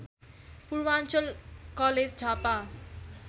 Purvanchal college Jhapa